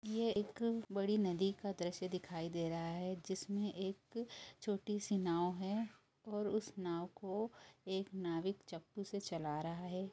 एक बड़ी नदी का दृश्य दिखाई दे रहा है जिसमें एक छोटी सी नाव है और उस नाव को एक नाविक चप्पू से चला रहा है।